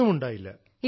ഒന്നും ഉണ്ടായില്ല